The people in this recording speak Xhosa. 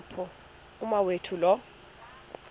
apho umawethu lo